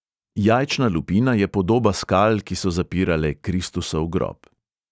Jajčna lupina je podoba skal, ki so zapirale kristusov grob.